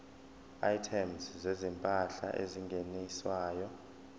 items zezimpahla ezingeniswayo